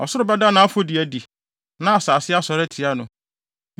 Ɔsoro bɛda nʼafɔdi adi, na asase asɔre atia no.